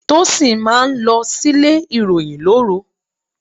Tósìn máa ń lọ sílé ìròyìn lóru.